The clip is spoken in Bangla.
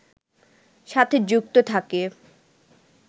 সাথে যুক্ত থাকে